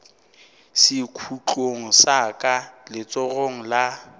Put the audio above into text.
sekhutlong sa ka letsogong la